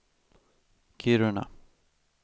Kiruna